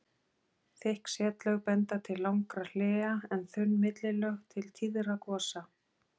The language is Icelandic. Þykk setlög benda til langra hléa en þunn millilög til tíðra gosa.